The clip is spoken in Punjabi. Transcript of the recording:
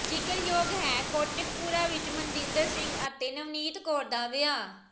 ਜ਼ਿਕਰਯੋਗ ਹੈ ਕੋਟਕਪੂਰਾ ਵਿਚ ਮਨਜਿੰਦਰ ਸਿੰਘ ਅਤੇ ਨਵਨੀਤ ਕੌਰ ਦਾ ਵਿਆਹ